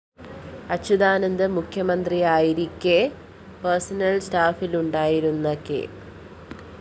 അച്യുതാനന്ദന്‍ മുഖ്യമന്ത്രിയായിരിക്കെ പേർസണൽ സ്റ്റാഫിലുണ്ടായിരുന്ന കെ